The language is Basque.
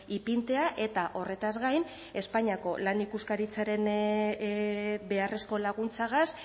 ipintzea eta horretaz gain espainiako lan ikuskaritzaren beharrezko laguntzagaz